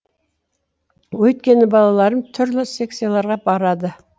өйткені балаларым түрлі секцияларға барады